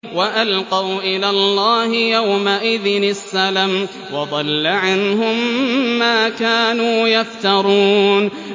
وَأَلْقَوْا إِلَى اللَّهِ يَوْمَئِذٍ السَّلَمَ ۖ وَضَلَّ عَنْهُم مَّا كَانُوا يَفْتَرُونَ